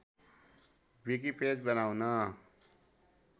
wiki page बनाउन